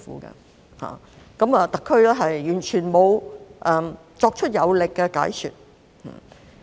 然而，對此，特區完全沒有作出有力的解說。